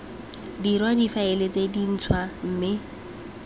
dirwa difaele tse dintshwa mme